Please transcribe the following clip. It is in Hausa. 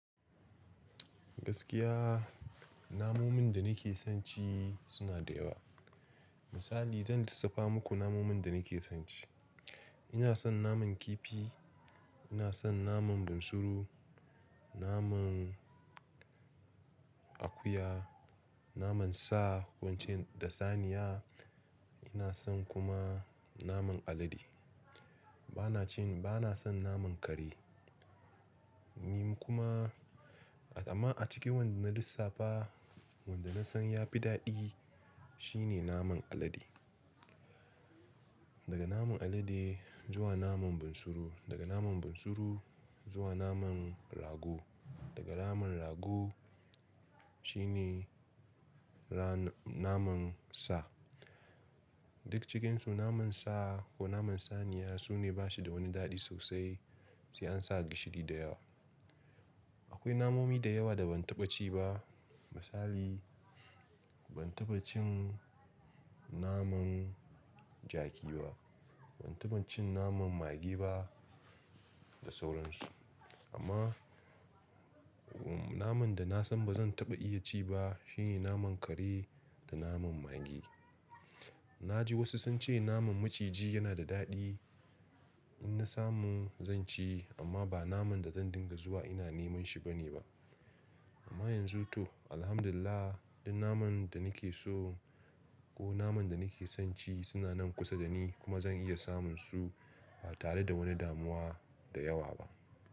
Gaskiya, namomin da nake son ci suna da yawa. Misali zan lissafa muku namomin da nake son ci. Ina son naman kifi, ina son naman bunsuru, naman akuya, naman sa wancan da saniya, ina son kuma naman alade. Bana cin-- bana son naman kare. Ni kuma a-- amma a cikin wanda na lissafa wanda na san ya fi daɗi shine naman alade. Daga naman alade zuwa naman bunsuru, daga naman bunsuru zuwa naman rago, daga naman rago shine ra-- naman sa. Duk cikinsu naman sa ko naman saniya sune bashi da wani daɗi sosai sai an sa gishiri da yawa. Akwai namomi da yawa da ban taɓa ci ba misali ban taɓa cin naman jaki ba, ban taɓa cin naman mage ba da sauransu. Amma naman da na san ba zan taɓa iya ci ba shine naman kare da naman mage. Na ji wasu sun ce naman maciji yana da daɗi in na samu zan ci amma ba naman da zan dinga zuwa ina neman shi bane ba. Amma yanzu to alhamdulillah duk naman da nake so ko naman da nake son ci suna nan kusa da ni kuma zan iya samun su ba tare da wani damuwa da yawa ba.